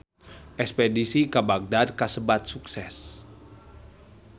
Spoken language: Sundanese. Espedisi ka Bagdad kasebat sukses